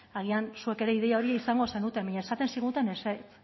agian zuek ere ideia hori izaten zenuten baina esaten ziguten ezetz